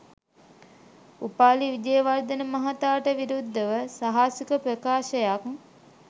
උපාලි විජේවර්ධන මහතාට විරුද්ධව සාහසික ප්‍රකාශයක්